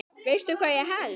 Veistu hvað ég held.